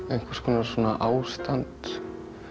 einhvers konar ástand